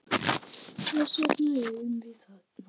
Þess vegna erum við þarna.